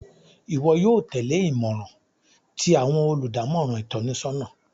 Iwọ yóò tẹle imọran ti awọn oludamọran itọnisọna